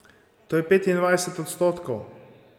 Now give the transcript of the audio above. To je petindvajset odstotkov!